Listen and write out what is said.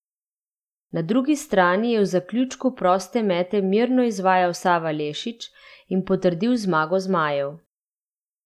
Na drugi strani je v zaključku proste mete mirno izvajal Sava Lešić in potrdil zmago zmajev.